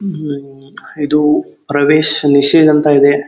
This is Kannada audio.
ಇದು ಪ್ರವೇಶ್ ಮಿಷನ್ ಅಂತ ಇದೆ.